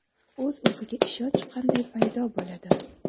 O‘z-o‘ziga ishonch qanday paydo bo‘ladi?.